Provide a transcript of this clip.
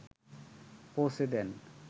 পৌছে দেন